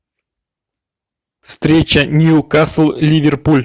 встреча ньюкасл ливерпуль